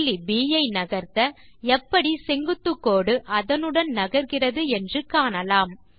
புள்ளி ப் ஐ நகர்த்த எப்படி செங்குத்துக்கோடு அதனுடன் நகர்கிறது என்று காணலாம்